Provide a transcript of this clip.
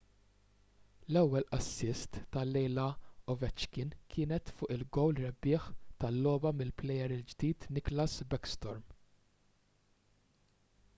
l-ewwel assist tal-lejla ta' ovechkin kienet fuq il-gowl rebbieħ tal-logħba mill-plejer il-ġdid nicklas backstrom